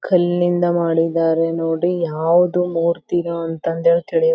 ಕಾಣಿಕೆ ಪೆಟೆ ದಾನ್ ಪೆಟ್ಟಿಗೆ ಅಂತ ಹಾಕ್ಯಾರ್ ಇಲ್ಲೇ.